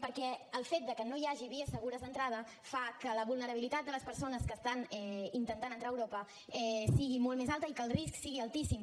perquè el fet que no hi hagi vies segures d’entrada fa que la vulnerabilitat de les persones que estan intentant entrar a europa sigui molt més alta i que el risc sigui altíssim